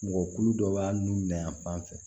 Mɔgɔkulu dɔ b'a nun na yan fan fɛ